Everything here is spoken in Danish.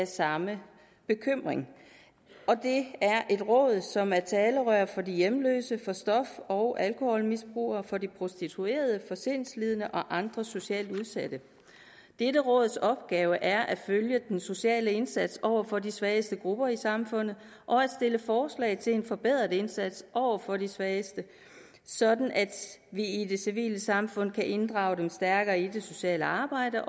samme bekymring det er et råd som er talerør for de hjemløse for stof og alkoholmisbrugere for de prostituerede for sindslidende og andre socialt udsatte dette råds opgave er at følge den sociale indsats over for de svageste grupper i samfundet og stille forslag til en forbedret indsats over for de svageste sådan at vi i det civile samfund kan inddrage dem stærkere i det sociale arbejde